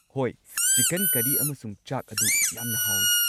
ꯍꯣꯏ, ꯆꯤꯀꯟ ꯀꯔꯤ ꯑꯃꯁꯨꯡ ꯆꯥꯛ ꯑꯗꯨ ꯌꯥꯝꯅ ꯍꯥꯎꯏ꯫